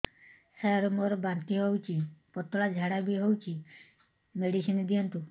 ସାର ମୋର ବାନ୍ତି ହଉଚି ପତଲା ଝାଡା ବି ହଉଚି ମେଡିସିନ ଦିଅନ୍ତୁ